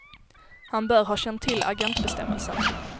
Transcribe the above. Han bör ha känt till agentbestämmelsen.